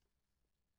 Radio24syv